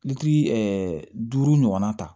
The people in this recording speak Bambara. duuru ɲɔgɔnna ta